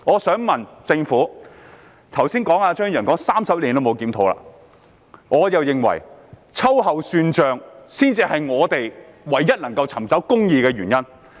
張宇人議員剛才說 ，30 年來也沒有進行檢討，而我認為秋後算帳才是我們唯一能夠尋找公義的方法。